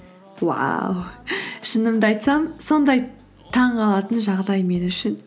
уау шынымды айтсам сондай таңғалатын жағдай мен үшін